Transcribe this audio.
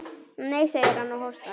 Nei, segir hann og hóstar.